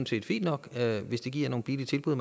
set fint nok hvis det giver nogle billige tilbud